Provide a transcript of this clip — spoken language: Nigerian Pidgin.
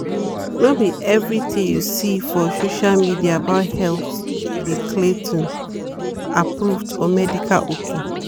like one video say to de drink garlic water de cure flu_ wey no be true stop am all.